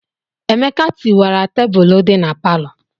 Emeka tiwara tebụlụ dị na palọ.